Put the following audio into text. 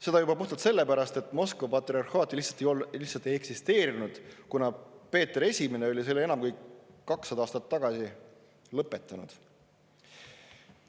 Seda juba puhtalt sellepärast, et Moskva patriarhaati lihtsalt ei eksisteerinud, kuna Peeter Esimene oli selle enam kui 200 aastat tagasi lõpetanud.